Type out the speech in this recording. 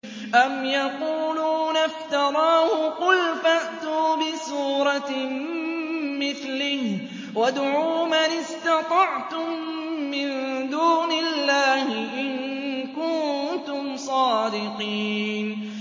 أَمْ يَقُولُونَ افْتَرَاهُ ۖ قُلْ فَأْتُوا بِسُورَةٍ مِّثْلِهِ وَادْعُوا مَنِ اسْتَطَعْتُم مِّن دُونِ اللَّهِ إِن كُنتُمْ صَادِقِينَ